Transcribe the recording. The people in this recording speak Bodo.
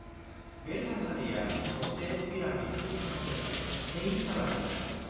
बे थानसालिया गंसे पिरामिडनि उखुमजों नै थालानि दाथाय।